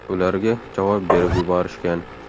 Ularga javob berib yuborishgan.